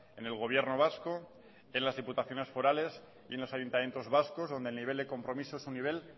en el gobierno vasco en las diputaciones forales y en los ayuntamientos vascos donde el nivel de compromiso es un nivel